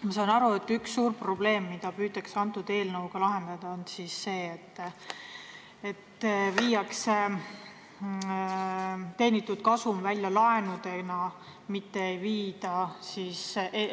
Ma saan aru, et üks suur probleem, mida püütakse eelnõuga lahendada, on see, et teenitud kasum viiakse